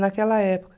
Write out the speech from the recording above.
Naquela época.